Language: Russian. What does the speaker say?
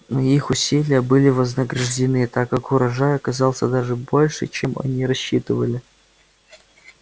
но их усилия были вознаграждены так как урожай оказался даже больше чем они рассчитывали